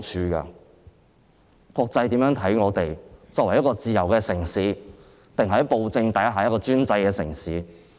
我們希望國際把我們看作一個自由的城市，還是在暴政下的專制城市？